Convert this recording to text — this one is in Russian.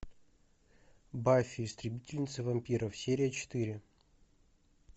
баффи истребительница вампиров серия четыре